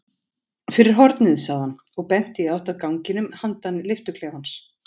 Fyrir hornið sagði hann og benti í átt að ganginum handan lyftuklefans.